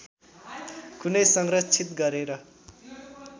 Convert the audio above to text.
कुनै संरक्षित गरेर